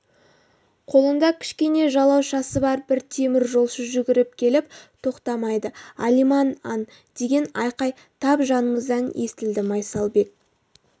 қолында кішкене жалаушасы бар бір теміржолшы жүгіріп келіп тоқтамайды алиман-ан деген айқай тап жанымыздан естілді майсалбек